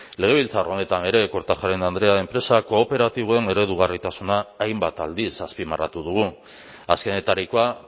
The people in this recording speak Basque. legebiltzar honetan ere kortajarena andrea enpresa kooperatiboen eredugarritasuna hainbat aldiz azpimarratu dugu azkenetarikoa